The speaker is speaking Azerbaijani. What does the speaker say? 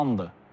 Yandır.